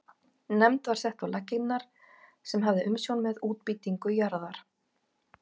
Nefnd var sett á laggirnar sem hafði umsjón með útbýtingu jarða.